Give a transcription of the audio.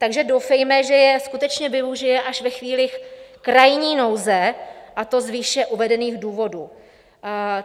Takže doufejme, že jej skutečně použije až ve chvíli krajní nouze, a to z výše uvedených důvodů.